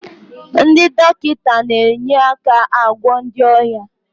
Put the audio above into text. Ndị dọkịta na-enye aka agwọ ndị ọrịa